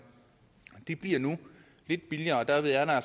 de bliver nu lidt billigere og derved er der